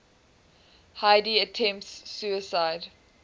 heidi attempts suicide